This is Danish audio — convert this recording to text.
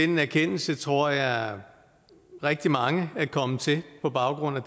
den erkendelse tror jeg rigtig mange er kommet til på baggrund af